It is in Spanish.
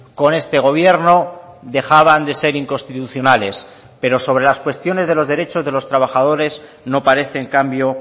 con este gobierno dejaban de ser inconstitucionales pero sobre las cuestiones de los derechos de los trabajadores no parece en cambio